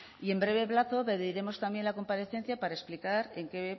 y en breve plazo pediremos también la comparecencia para explicar en qué